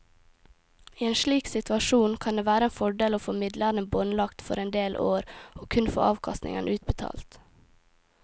I en slik situasjon kan det være en fordel å få midlene båndlagt for en del år og kun få avkastningen utbetalt.